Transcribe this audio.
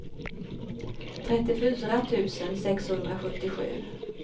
trettiofyra tusen sexhundrasjuttiosju